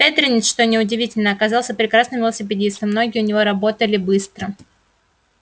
бедренец что неудивительно оказался прекрасным велосипедистом ноги у него работали быстро